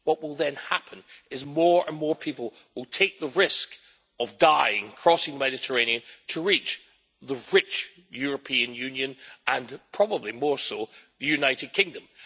What will then happen is that more and more people will take the risk of dying crossing the Mediterranean to reach the rich European Union and probably more so the United Kingdom.